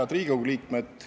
Head Riigikogu liikmed!